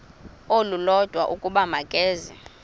olulodwa ukuba makeze